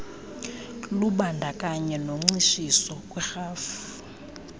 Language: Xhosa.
lubandakanye noncitshiso kwiirhafu